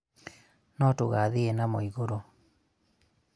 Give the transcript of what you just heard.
no tũgathiĩ namo igũrũ